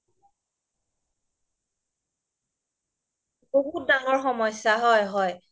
জনসংখ্যা বিস্ফোৰণ এটা মানে বহুত ডাঙৰ সমস্যা হৈ পৰিছে